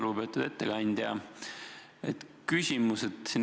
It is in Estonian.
Lugupeetud ettekandja!